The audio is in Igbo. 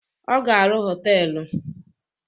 Ọ ga arụ họtelu